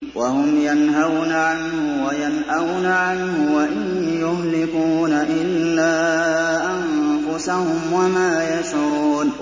وَهُمْ يَنْهَوْنَ عَنْهُ وَيَنْأَوْنَ عَنْهُ ۖ وَإِن يُهْلِكُونَ إِلَّا أَنفُسَهُمْ وَمَا يَشْعُرُونَ